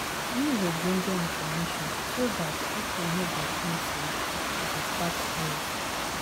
Use ogbonge information so dat pipo no go think sey you dey catch cruise